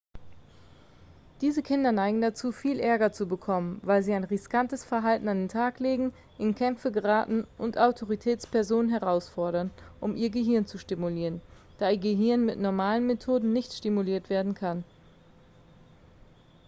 diese kinder neigen dazu viel ärger zu bekommen weil sie ein riskantes verhalten an den tag legen in kämpfe geraten und autoritätspersonen herausfordern um ihr gehirn zu stimulieren da ihr gehirn mit normalen methoden nicht stimuliert werden kann